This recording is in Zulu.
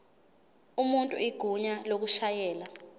umuntu igunya lokushayela